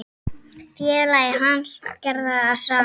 Félagi hans gerði það sama.